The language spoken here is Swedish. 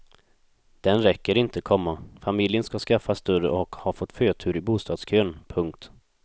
Den räcker inte, komma familjen ska skaffa större och har fått förtur i bostadskön. punkt